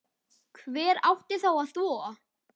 Hver átti þá að þvo?